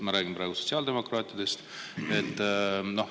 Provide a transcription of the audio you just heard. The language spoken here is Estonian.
Ma räägin praegu sotsiaaldemokraatidest.